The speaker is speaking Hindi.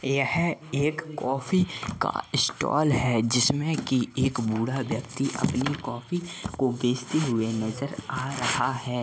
यह एक कॉफी का स्टाल है जिसमें की एक बूढ़ा व्यक्ति अपनी कॉफी को बेचते हुए नजर आ रहा है।